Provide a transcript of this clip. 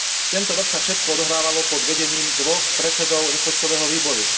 Tento rok sa všetko odohrávalo pod vedením dvoch predsedov rozpočtového výboru.